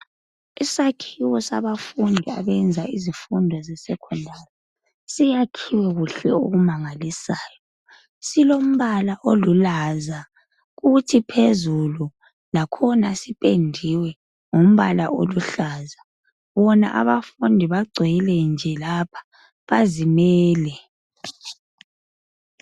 Isakhiwo sabafundi abenza izifundo zeSecondari ,siyakhiwe kuhle okumangalisayo. Silombala olulaza kuthi phezulu, lakhona sipendiwe ngombala oluhlaza. Bona abafundi bagcwele nje lapha ,bazimele.